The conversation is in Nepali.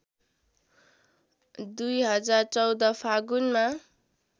२०१४ फागुनमा